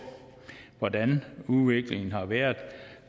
hvordan udviklingen har været